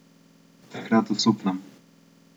Takrat osupnem.